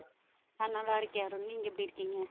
அஹ் நல்லா இருக்கேன் அருண் நீங்க எப்படி இருக்கீங்க